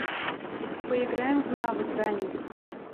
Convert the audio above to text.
поиграем в навык даня